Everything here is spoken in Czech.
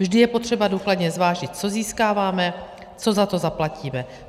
Vždy je potřeba důkladně zvážit, co získáváme, co za to zaplatíme.